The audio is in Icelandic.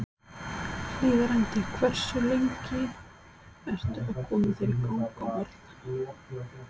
Hlíðarendi Hversu lengi ertu að koma þér í gang á morgnanna?